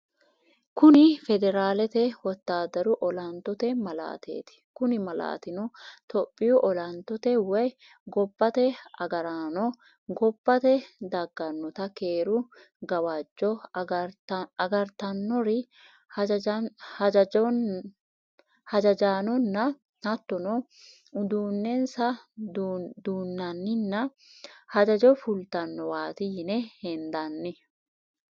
Kuni federalete wotadaru olantote malaatteti, kuni malatino tophiyu olantotte woyi gobate agaranno gobbate daganotta keeru gawajjo agaritanori hajajanonna hatonno uduu'nensa duunanninna hajjajjo fulitanowati yine hendanni